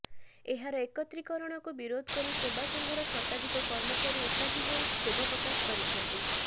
ଏହାର ଏକତ୍ରୀକରଣକୁ ବିରୋଧ କରି ସେବାସଂଘର ଶତାଧିକ କର୍ମଚାରୀ ଏକାଠି ହୋଇ କ୍ଷୋଭ ପ୍ରକାଶ କରିଛନ୍ତି